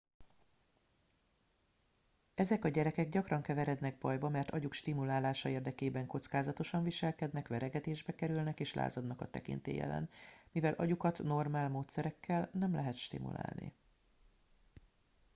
ezek a gyerekek gyakran keverednek bajba mert agyuk stimulálása érdekében kockázatosan viselkednek verekedésbe kerülnek és lázadnak a tekintély ellen mivel agyukat normál módszerekkel nem lehet stimulálni